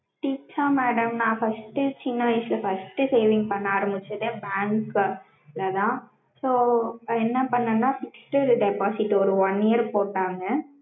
tips ஆ madam நா first சின்ன வயசுல first saving பண்ண ஆரம்பிச்சது bank ல தான் so என்ன பண்ணேன்னா fixed deposit ஒரு one year போட்டாங்க